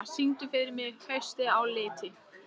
Minerva, syngdu fyrir mig „Haustið á liti“.